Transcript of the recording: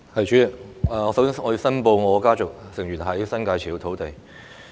主席，我首先申報我的家族成員在新界持有土地。